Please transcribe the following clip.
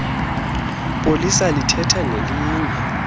polisa lithetha nelinye